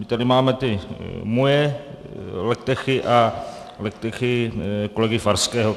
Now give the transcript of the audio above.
My tady máme ty moje legtechy a legtechy kolegy Farského.